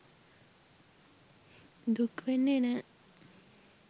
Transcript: දුක් වෙන්නේ නෑ.